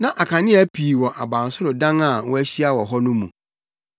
Na akanea pii wɔ abansoro dan a wɔahyia wɔ hɔ no mu.